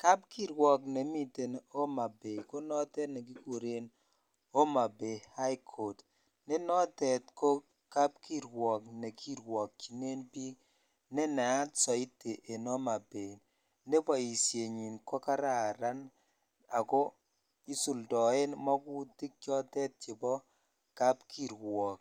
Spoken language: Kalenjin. Kapkirwok nemi Homa Bay ko notet nekikuren Homabay High Court ne notet ko kapkirwok nekirwokyinen biik nenayat soiti en Homa Bay ne boisienyin ko kararan ako isuldoen magutik chotet chebo kapkirwok.